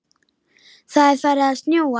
Það er farið að snjóa.